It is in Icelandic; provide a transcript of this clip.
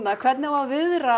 hvernig á að viðra